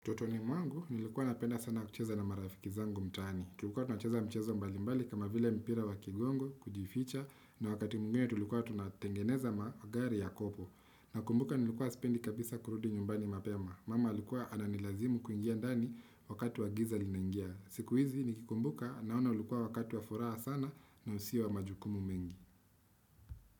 Utotoni mwangu nilikuwa napenda sana kucheza na marafiki zangu mtaani tulikuwa tunacheza mchezo mbalimbali kama vile mpira wa kigongo kujificha na wakati mwingine tulikuwa tunatengeneza magari ya kopo nakumbuka nilikuwa sipendi kabisa kurudi nyumbani mapema mama alikuwa ananilazimu kuingia ndani wakati wa giza limeingia siku hizi nikikumbuka naona ulikuwa wakati wa furaha sana na usio wa majukumu mengi.